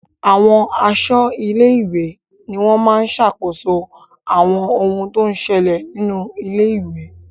Àwọn aṣọ́ ilé-ìwé ni wọ́n máa ń sàkóso àwọn ohun tó ń ṣẹlẹ̀ nínú ilé-ìwé.